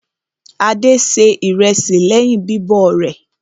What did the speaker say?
Adé se ìrẹsì lẹ́yìn bíbọ̀ rẹ̀.